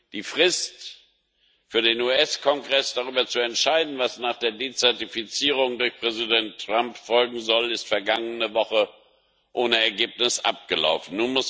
Die Frist für den US Kongress, darüber zu entscheiden, was nach der Dezertifizierung durch Präsident Trump folgen soll, ist vergangene Woche ohne Ergebnis abgelaufen.